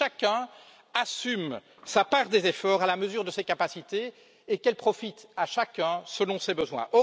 Que chacun assume sa part des efforts à la mesure de ses capacités et qu'elle profite à chacun selon ses besoins.